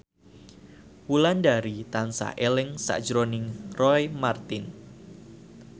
Wulandari tansah eling sakjroning Roy Marten